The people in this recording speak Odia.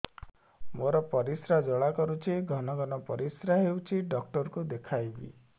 ମୋର ପରିଶ୍ରା ଜ୍ୱାଳା କରୁଛି ଘନ ଘନ ପରିଶ୍ରା ହେଉଛି ଡକ୍ଟର କୁ ଦେଖାଇବି